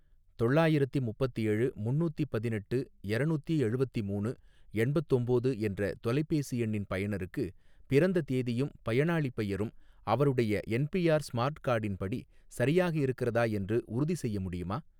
தொள்ளாயிரத்தி முப்பத்தேழு முன்னூத்தி பதினெட்டு எரநூத்தி எழுவத்திமூணு எண்பத்தொம்போது என்ற தொலைபேசி எண்ணின் பயனருக்கு பிறந்த தேதியும் பயனாளிப் பெயரும் அவருடைய என்பிஆர் ஸ்மார்ட் கார்டின் படி சரியாக இருக்கிறதா என்று உறுதிசெய்ய முடியுமா?